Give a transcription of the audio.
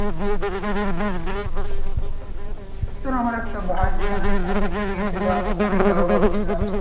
এই তো আমার একটা ভাই যেখানে থাকে কুয়েতে ধর ওখানেই যাব ভাবছিলাম।